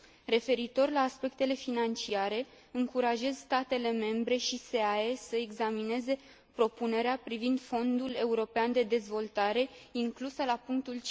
Referitor la aspectele financiare, încurajez statele membre și SEAE să examineze propunerea privind Fondul european de dezvoltare inclusă la punctul